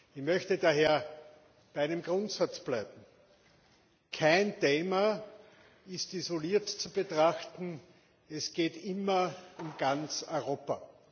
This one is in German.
Ich möchte daher bei einem Grundsatz bleiben Kein Thema ist isoliert zu betrachten, es geht immer um ganz Europa.